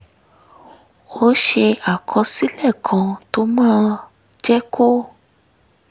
ó ṣe àkọsílẹ̀ kan tó máa jẹ́ kó